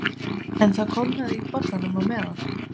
En það kólnaði í bollanum á meðan